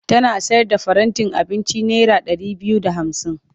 Tana sayar da farantin abinci naira ɗari biyu da hamsin.